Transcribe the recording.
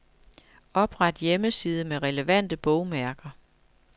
Opret hjemmeside med relevante bogmærker.